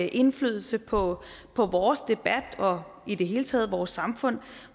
indflydelse på på vores debat og i det hele taget på vores samfund